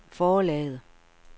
forlaget